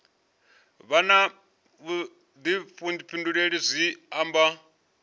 vha na vhuḓifhinduleli zwi amba